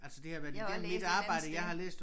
Jeg har også læst et eller andet sted